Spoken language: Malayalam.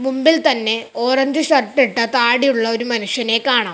മുമ്പിൽ തന്നെ ഓറഞ്ച് ഷർട്ടിട്ട താടിയുള്ള ഒരു മനുഷ്യനെ കാണാം.